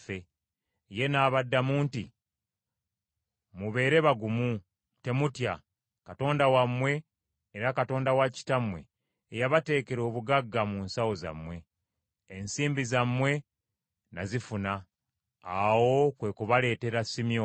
Ye n’abaddamu nti, “Mubeere bagumu temutya. Katonda wammwe era Katonda wa kitammwe ye yabateekera obugagga mu nsawo zammwe; ensimbi zammwe nazifuna.” Awo kwe kubaleetera Simyoni.